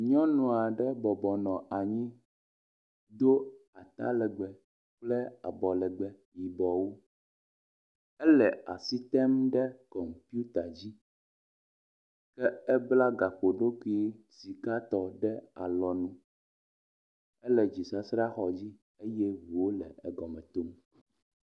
Nyɔnu aɖe bɔbɔnɔ anyi do atalegbe kple abɔlegbe yibɔwo ele asi tem ɖe kɔmputa dzi ke ebla gaƒoɖokui sikatɔ ɖe alɔnu ele dzisasraxɔ dzi eye ŋuwo le egɔme tom.